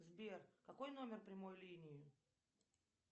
сбер какой номер прямой линии